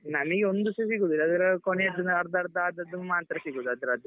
ನನಿಗೆ ಒಂದು ಸಾ ಸಿಗುದಿಲ್ಲ ಅದ್ರ ಕೊನೆಯಲ್ಲಿ ಅರ್ಧ ಅರ್ಧ ಆದದ್ದು ಮಾತ್ರ ಸಿಗುದು ಅದ್ರದ್ದು.